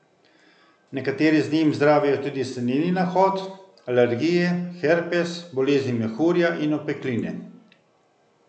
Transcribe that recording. Nekateri z njim zdravijo tudi seneni nahod, alergije, herpes, bolezni mehurja in opekline.